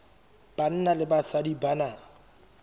banna le basadi ba na